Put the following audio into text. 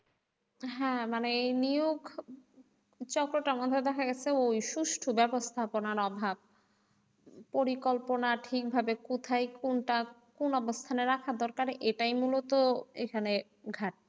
হ্যাঁ মানে এই নিয়োগ চক্রটা এমনভাবে দেখা গেছে ওই সুস্ট বেবস্থাপনার অভাব পরিকল্পনা ঠিকভাবে কথায় কোনটা কোন অবস্থানে রাখা দরকার এটাই মুলত এখানে ঘাটতি।